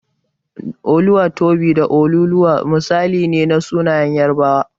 Oluwatobi da Oluoluwa misali ne na sunayen Yarabawa.